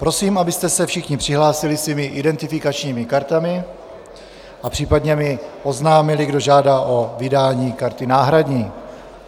Prosím, abyste se všichni přihlásili svými identifikačními kartami a případně mi oznámili, kdo žádá o vydání karty náhradní.